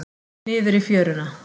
Niður í fjöruna.